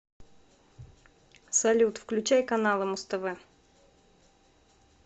салют включай каналы муз тв